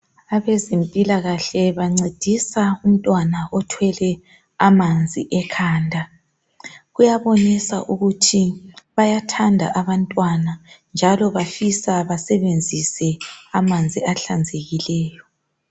Abezempilakahle bancedisa umntwana othwele amanzi ekhanda kuyabonisa ukuthi bayathanda abantwana njalo abafisa basebenzise amanzi ahlanzekileyo.